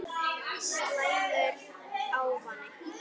Slæmur ávani